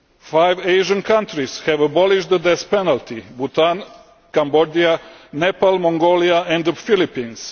Five Asian countries have abolished the death penalty Bhutan, Cambodia, Nepal, Mongolia and the Philippines.